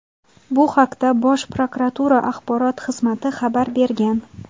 Bu haqda Bosh prokuratura Axborot xizmati xabar bergan.